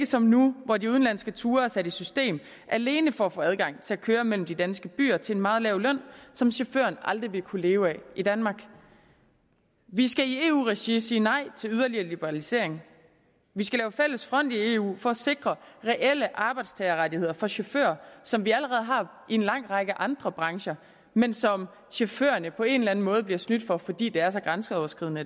som nu hvor de udenlandske ture er sat i system alene for at få adgang til at køre mellem de danske byer til en meget lav løn som chaufføren aldrig ville kunne leve af i danmark vi skal i eu regi sige nej til yderligere liberalisering vi skal gøre fælles front i eu for at sikre reelle arbejdstagerrettigheder for chauffører som vi allerede har i en lang række andre brancher men som chaufførerne på en eller anden måde bliver snydt for fordi det er så grænseoverskridende